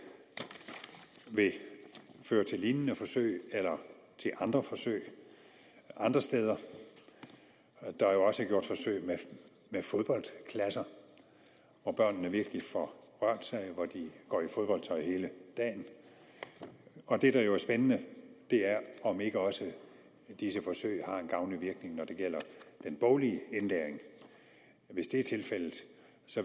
vil føre til lignende forsøg eller til andre forsøg andre steder der er jo også gjort forsøg med fodboldklasser hvor børnene virkelig får rørt sig hvor de går i fodboldtøj hele dagen det der jo er spændende er om ikke også disse forsøg har en gavnlig virkning når det gælder den boglige indlæring hvis det er tilfældet